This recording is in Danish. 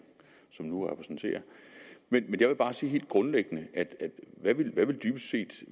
som nu repræsenterer men jeg vil bare sige helt grundlæggende hvad vil dybest set